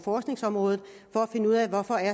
området